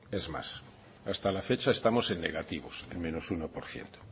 es más hasta la fecha estamos en negativos en menos uno por ciento